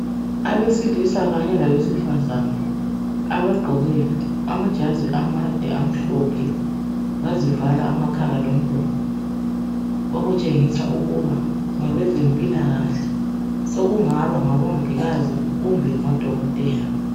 Abesilisa kanye labesifazana ,abagqoke amajazi amade amhlophe bazivala amakhala lomlomo . Okutshengisa ukuba ngabezempilakahle, sokungaba ngabomongikazi kumbe ngodokothela.